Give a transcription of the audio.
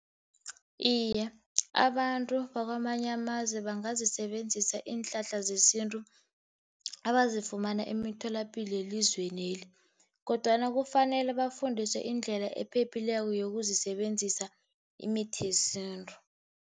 Iye, abantu bakwamanye amazwe bangazisebenzisa iinhlahla zesintu, abazifumana emitholapilo yelizwe leli. Kodwana kufanele bafundiswe indlela ephephileko yokusebenzisa imithi yesintu.